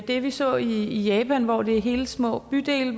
det vi så i japan hvor det er i hele små bydele